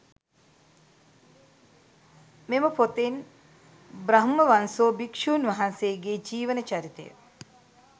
මෙම පොතෙන් බ්‍රහ්මවංසෝ භික්‍ෂූන් වහන්සේගේ ජීවන චරිතය